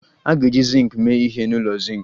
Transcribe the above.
A ga-eji zinc mee ihe n'ụlọ zinc